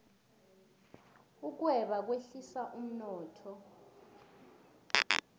ukweba kwehlisa umnotho